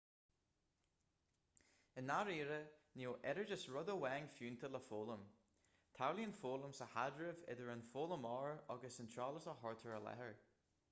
i ndáiríre níl oiread is rud amháin fiúntach le foghlaim tarlaíonn foghlaim sa chaidreamh idir an foghlaimeoir agus an t-eolas a chuirtear i láthair